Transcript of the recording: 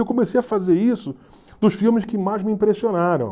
Eu comecei a fazer isso nos filmes que mais me impressionaram.